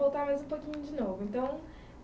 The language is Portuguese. Mas vamos voltar mais um pouquinho de novo, então...